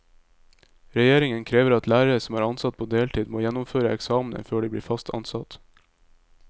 Regjeringen krever at lærere som er ansatt på deltid må gjennomføre eksamener før de blir fast ansatt.